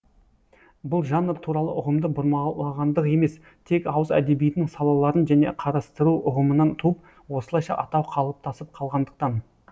бұл жанр туралы ұғымды бұрмалағандық емес тек ауыз әдебиетінің салаларын және қарастыру ұғымынан туып осылайша атау қалыптасып қалғандықтан